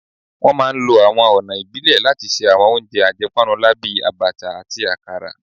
Wọ́n máa ń lo àwọn ọ̀nà ìbílẹ̀ láti ṣe àwọn oúnjẹ àjẹpọ́nnulá bíi Abacha àti akara